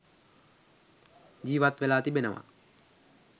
ජීවත් වෙලා තිබෙනවා.